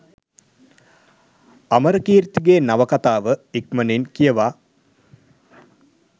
අමරකීර්තිගේ නවකතාව ඉක්මණින් කියවා